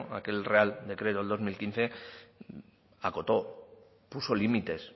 aquel real decreto del dos mil quince acotó puso límites